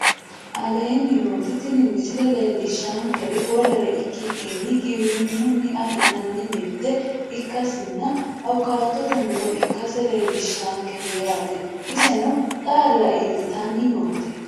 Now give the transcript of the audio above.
Aleenni nooti tini misile leellishaankeri wolere ikikinni giwirinunni afi'nanni mirite ikasinna awukaatotte muro ikasse leellishaankete yaate iseno xaalla iillitanni noote